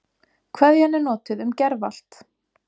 Kveðjan er notuð um gervallt